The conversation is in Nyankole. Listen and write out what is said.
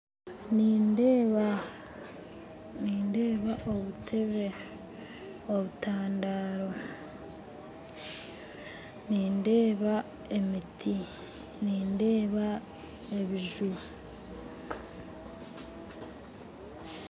Nindeeba obutebe obutandaaro nindeeba emiti nindeeba ebijuma